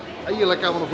ægilega gaman og